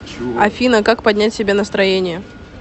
афина как поднять себе настроение